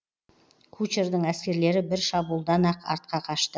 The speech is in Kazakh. кучардың әскерлері бір шабуылдан ақ артқа қашты